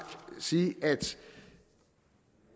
sige at